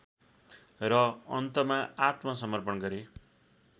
र अन्तमा आत्मसर्मपण गरे